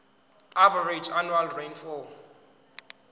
average annual rainfall